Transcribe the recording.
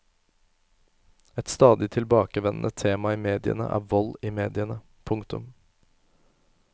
Et stadig tilbakevendende tema i mediene er vold i mediene. punktum